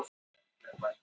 Hún var í skólanum, já.